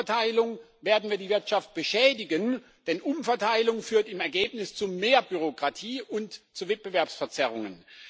Durch Umverteilung werden wir die Wirtschaft beschädigen, denn Umverteilung führt im Ergebnis zu mehr Bürokratie und zu Wettbewerbsverzerrungen.